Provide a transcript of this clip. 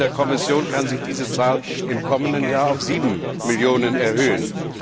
Laut Berichten der Kommission kann sich diese Zahl im kommenden Jahr auf sieben Millionen erhöhen.